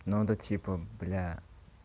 ну это типа бля